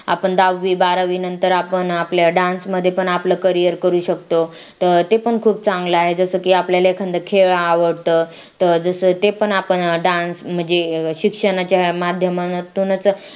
आपण दहावी बारावीनंतर आपण आपल्या dance मध्ये पण आपलं career करू शकतो तर ते पण खूप चांगला आहे जसं की आपल्याला एखांद खेळ आवडतं तर जसं ते पण आपण dance म्हणजे शिक्षणाच्या माध्यमातूनच